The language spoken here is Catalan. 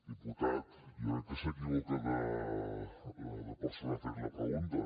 diputat jo crec que s’equivoca de persona a fer li la pregunta